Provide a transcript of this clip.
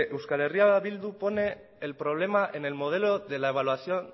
euskal herria bildu pone el problema en el modelo de la evaluación